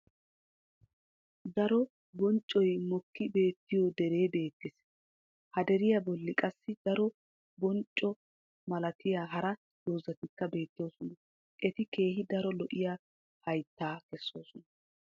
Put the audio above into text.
daro banccoy mokki beettiyo deree beetees. haderiya boli qassi daro boncco malatiyaa hara dozzatikka beetoosona. eti keehi daro lo'iya haytaa kesoosona.